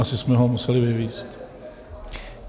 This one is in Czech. Asi jsme ho museli vyvézt.